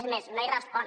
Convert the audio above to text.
és més no hi respon